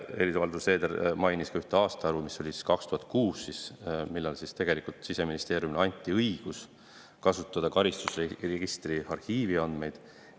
Helir-Valdor Seeder mainis ka ühte aastaarvu – 2006 –, millal anti Siseministeeriumile õigus kasutada karistusregistri arhiivi andmeid.